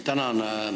Tänan!